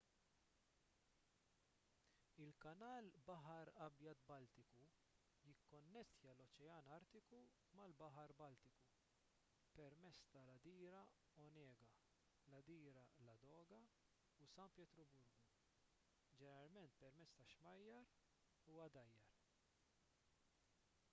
il-kanal baħar abjad-baltiku jikkonnettja l-oċean artiku mal-baħar baltiku pemezz tal-għadira onega l-għadira ladoga u san pietruburgu ġeneralment permezz ta' xmajjar u għadajjar